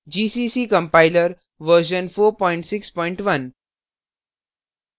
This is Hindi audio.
gcc compiler version 461